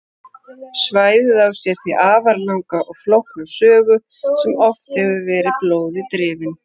Svæðið á sér því afar langa og flókna sögu sem oft hefur verið blóði drifin.